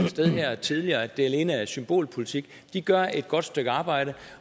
sted her tidligere at de alene er et symbolpolitik de gør et godt stykke arbejde